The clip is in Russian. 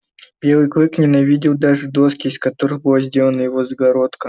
белый клык ненавидел даже доски из которых была сделана его загородка